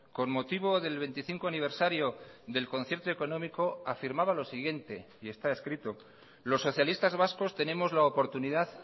con motivo del veinticinco aniversario del concierto económico afirmaba lo siguiente y está escrito los socialistas vascos tenemos la oportunidad